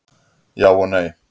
Já og nei.